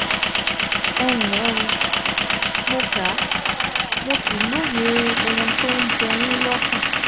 Ẹ ǹlẹ́ o, Mo kà, mo sì lóye ohun tó ń jẹ yín lọ́kàn